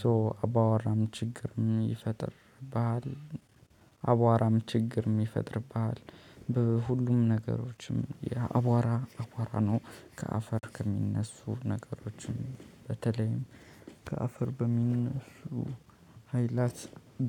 ሶ አቧራ ችግር የሚፈጥር ባህሪ አቧራ ችግር የሚፈጥር ባህሪ የሚፈጥር ባህል በሁሉም ነገሮችም ያአቧራ አቧራ ነው ከአፈር ከሚነሱ ነገሮችም በተለይም ከአፈር በሚነሱ ኃይላት